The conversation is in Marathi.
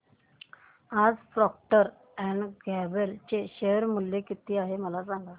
आज प्रॉक्टर अँड गॅम्बल चे शेअर मूल्य किती आहे मला सांगा